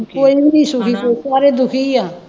ਕੋਈ ਵੀ ਸੁਖੀ ਸਾਰੇ ਦੁਖੀ ਹੈ